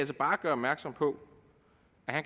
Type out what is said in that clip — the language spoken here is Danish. bare gøre opmærksom på